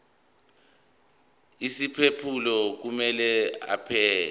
isiphephelo kumele abhale